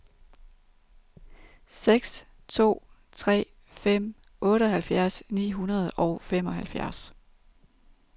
seks to tre fem otteoghalvfjerds ni hundrede og femoghalvfjerds